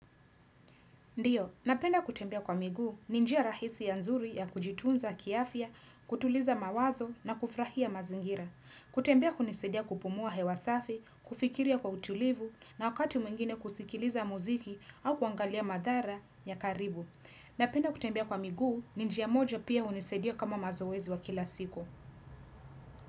Ndiyo, napenda kutembea kwa miguu ni njia rahisi ya nzuri ya kujitunza kiafya, kutuliza mawazo na kufurahia mazingira. Kutembea hunisadia kupumua hewa safi, kufikiria kwa utulivu na wakati mwingine kusikiliza muziki au kuangalia madhara ya karibu. Napenda kutembea kwa miguu ninjia moja pia hunisaidia kama mazoezi wa kila siku.